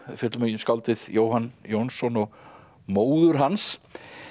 fjöllum um skáldið Jóhann Jónsson og móður hans